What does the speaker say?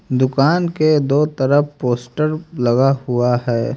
दुकान के दो तरफ पोस्टर लगा हुआ है।